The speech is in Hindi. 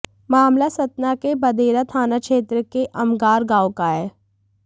मामला सतना के बदेरा थाना क्षेत्र के अमगार गांव का है